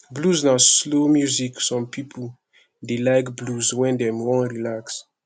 blues na slow music some pipo dey like blues when dem wan relax